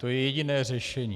To je jediné řešení.